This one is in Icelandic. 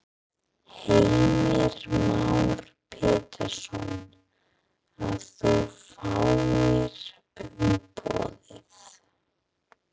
Heimir Már Pétursson: Að þú fáir umboðið?